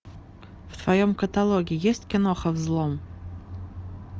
в твоем каталоге есть киноха взлом